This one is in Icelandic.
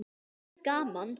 En það er gaman.